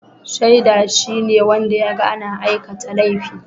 Shaida shine wanda ya ga ana aikata laifi